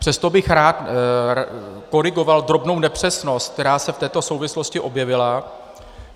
Přesto bych rád korigoval drobnou nepřesnost, která se v této souvislosti objevila.